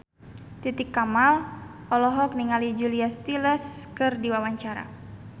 Titi Kamal olohok ningali Julia Stiles keur diwawancara